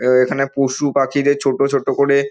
এ এখানে পশু পাখিদের ছোট ছোট করে--